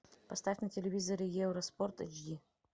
поставь на телевизоре евроспорт эйч ди